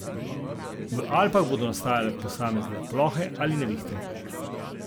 V Alpah bodo nastale posamezne plohe ali nevihte.